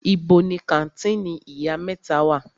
Ibo ni kàńtìnì Ìyá mẹ́ta wà?